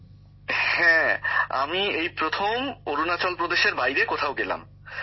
গ্যামর জীঃ হ্যাঁ আমি এই প্রথম অরুণাচল প্রদেশের বাইরে কোথাও গেলাম